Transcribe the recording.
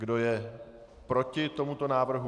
Kdo je proti tomuto návrhu?